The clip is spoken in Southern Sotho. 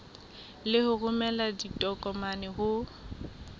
le ho romela ditokomane ho